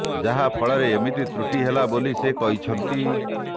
ଯାହା ଫଳରେ ଏମିତି ତ୍ରୁଟି ହେଲା ବୋଲି ସେ କହିଛନ୍ତି